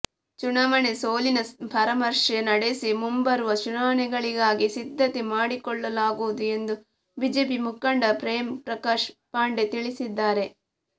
ಚುನಾವಣೆ ಸೋಲಿನ ಪರಾಮರ್ಶೆ ನಡೆಸಿ ಮುಂಬರುವ ಚುನಾವಣೆಗಳಿಗಾಗಿ ಸಿದ್ದತೆ ಮಾಡಿಕೊಳ್ಳಲಾಗುವುದು ಎಂದು ಬಿಜೆಪಿ ಮುಖಂಡ ಪ್ರೇಮ್ ಪ್ರಕಾಶ್ ಪಾಂಡೆ ತಿಳಿಸಿದ್ದಾರೆ